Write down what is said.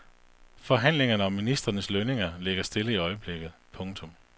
Forhandlingerne om ministrenes lønninger ligger stille i øjeblikket. punktum